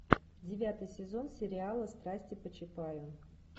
девятый сезон сериала страсти по чапаю